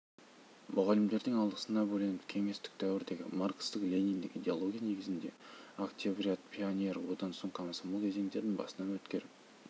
мұғалімдерінің алғысына бөленіп кеңестік дәуірдегі маркстік-лениндік идеология негізінде октябрят пионер одан соң комсомол кезеңдерін басынан өткеріп